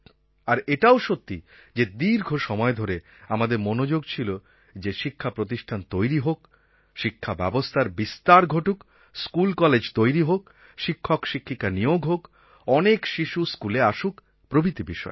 আর এটাও সত্যি যে দীর্ঘ সময় ধরে আমাদের মনোযোগ ছিল যে শিক্ষা প্রতিষ্ঠান তৈরি হোক শিক্ষা ব্যবস্থার বিস্তার ঘটুক স্কুলকলেজ তৈরি হোক শিক্ষকশিক্ষিকা নিয়োগ হোক অনেক শিশু স্কুলে আসুক প্রভৃতি বিষয়ে